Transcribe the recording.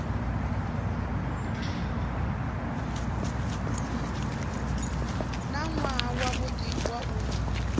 na nwaha wavhudi wa u